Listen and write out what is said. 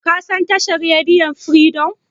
Ka san tashar rediyon Firidom?